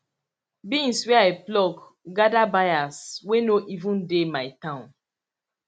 beans wey i pluck gather buyers wey no even dey my town